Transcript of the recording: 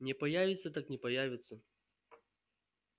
не появится так не появится